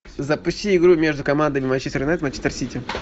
запусти игру между командами манчестер юнайтед манчестер сити